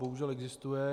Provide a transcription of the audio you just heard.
Bohužel existuje.